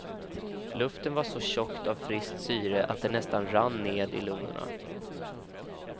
Luften var så tjock av friskt syre att den nästan rann ned i lungorna.